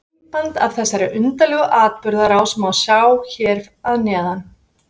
Myndband af þessari undarlegu atburðarás má sjá hér að neðan.